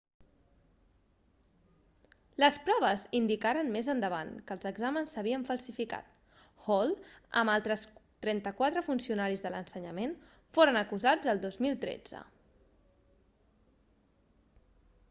les proves indicaren més endavant que els exàmens s'havien falsificat hall amb altres 34 funcionaris de l'ensenyament foren acusats el 2013